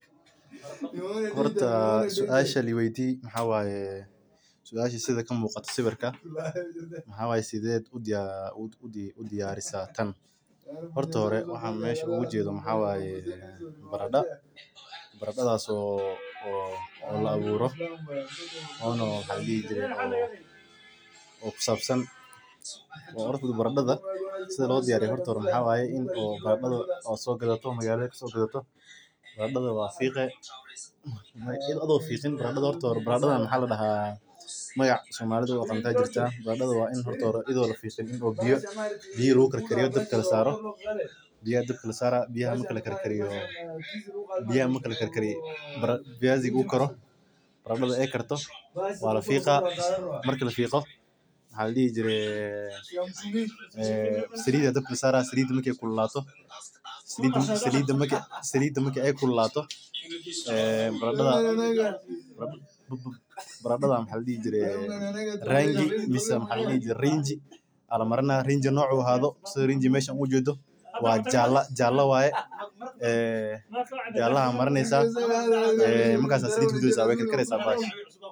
Cuntada macmacaan waa nooc ka mid ah cuntooyinka loogu talagalay in lagu dhadhamiyo, lagu raaxeysto, islamarkaana lagu dhammeeyo cuntooyinka waaweyn ama loo cuno xilliyada firaaqada. Waxaa ka mid ah buskudka, nacnaca, keega, shukulaatada, halwadaha, iyo miraha la karkariyey oo sonkor leh. Cuntada macmacaan waxay badanaa hodan ku tahay sonkor, dufan, iyo mararka qaar maadada borotiinka ama caanaha,